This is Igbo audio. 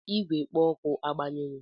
Igwe kpo oku agbanyere?